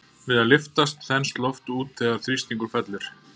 Við að lyftast þenst loft út þegar þrýstingur fellur.